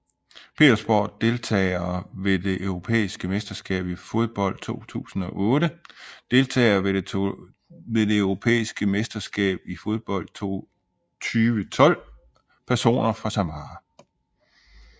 Petersborg Deltagere ved det europæiske mesterskab i fodbold 2008 Deltagere ved det europæiske mesterskab i fodbold 2012 Personer fra Samara